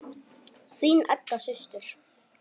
Þín Edda systir.